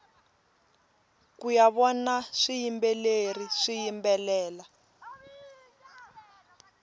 kuya vona swiyimbeleri swiyimbelela